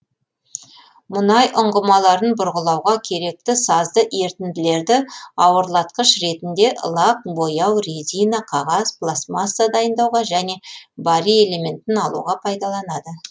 мұнай ұңғымаларын бұрғылауға керекті сазды ерітінділерді ауырлатқыш ретінде лак бояу резина қағаз пластмасса дайындауға және барий элементін алуға пайдаланады